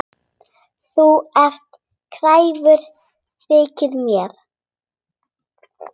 Þú ert kræfur, þykir mér.